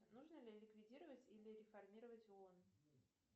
нужно ли ликвидировать или реформировать оон